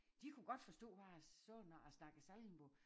De kunne godt forstå hvad jeg sagde når jeg snakkede sallingmål